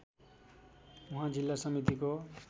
उहाँ जिल्ला समितिको